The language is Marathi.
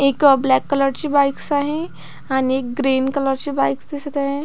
एक ब्लॅक कलर ची बाईकस आहे आणि एक ग्रीन कलर ची बाईक दिसत आहे.